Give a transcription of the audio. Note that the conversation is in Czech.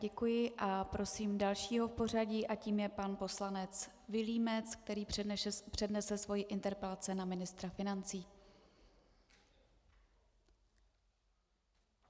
Děkuji a prosím dalšího v pořadí a tím je pan poslanec Vilímec, který přednese svoji interpelaci na ministra financí.